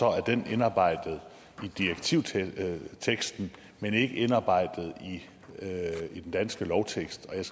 er den indarbejdet i direktivteksten men ikke indarbejdet i den danske lovtekst og jeg